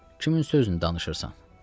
Kimin sözünü danışırsan?